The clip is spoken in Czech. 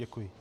Děkuji.